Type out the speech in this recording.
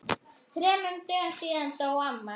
Þremur dögum síðar dó amma.